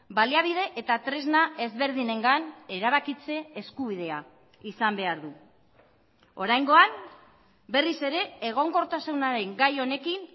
baliabide eta tresna ezberdinengan erabakitze eskubidea izan behar du oraingoan berriz ere egonkortasunaren gai honekin